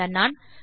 அந்த நாண்